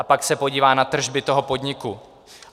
A pak se podívá na tržby toho podniku.